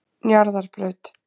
Njarðarbraut